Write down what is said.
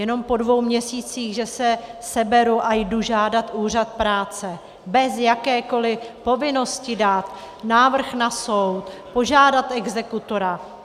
Jenom po dvou měsících že se seberu a jdu žádat úřad práce bez jakékoli povinnosti dát návrh na soud, požádat exekutora.